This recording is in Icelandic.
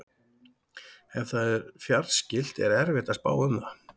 Ef það er fjarskylt er erfitt að spá um það.